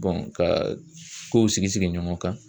ka kow sigi sigi ɲɔgɔn kan.